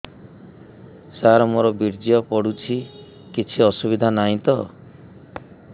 ସାର ମୋର ବୀର୍ଯ୍ୟ ପଡୁଛି କିଛି ଅସୁବିଧା ନାହିଁ ତ